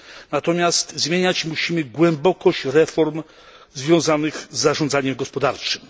Natomiast zmieniać musimy głębokość reform związanych z zarządzaniem gospodarczym.